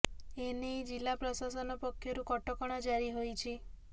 ଏ ନେଇ ଜିଲ୍ଲା ପ୍ରଶାସନ ପକ୍ଷରୁ କଟକଣା ଜାରି ହୋଇଛି